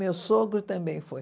Meu sogro também foi.